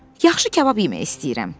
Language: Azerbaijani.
Yaxşı kabab yemək istəyirəm.